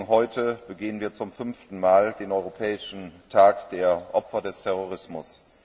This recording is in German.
Heute begehen wir zum fünften Mal den Europäischen Tag der Opfer des Terrorismus.